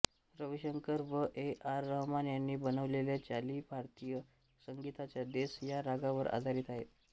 रविशंकर व A R Rahman यांनी बनवलेल्या चाली भारतीय संगीताच्या देस या रागावर आधारित आहेत